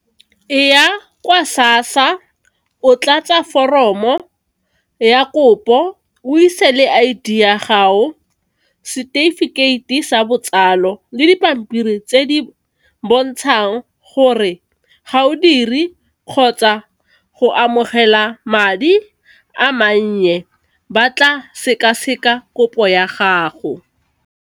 E ya kwa sassa o tla tsa foromo ya kopo o ise le I_D ya gago, setefikeiti sa botsalo, le dipampiri tse di bontshang gore ga o dire kgotsa go amogela madi a mannye, ba tla sekaseka kopo ya gago.